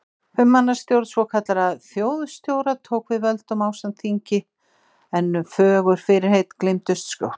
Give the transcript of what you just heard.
Fimm manna stjórn svokallaðra þjóðstjóra tók við völdum ásamt þingi en fögur fyrirheit gleymdust skjótt.